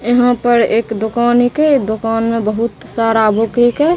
एहां पर एक दोकान हयके दोकान में बहुत सारा बुक हेकय।